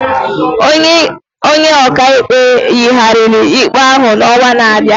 Onye ọkaikpe yigharịrị ikpe ahụ n'ọnwa na-abịa.